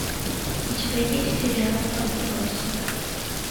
у тебя есть сериал отбросы